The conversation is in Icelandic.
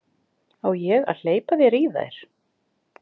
Á ég að hleypa þér í þær?